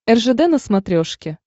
ржд на смотрешке